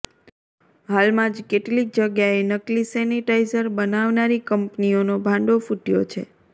હાલમાં જ કેટલીક જગ્યાએ નકલી સેનિટાઈઝર બનાવનારી કંપનીઓનો ભાંડો ફૂટ્યો છે